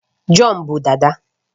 John bu dada